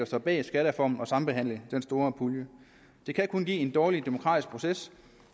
står bag skattereformen at sambehandle den store pulje det kan kun give en dårlig demokratisk proces